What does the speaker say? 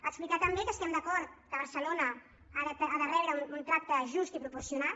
explicar també que estem d’acord que barcelona ha de rebre un tracte just i proporcionat